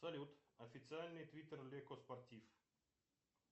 салют официальный твиттер леко спортив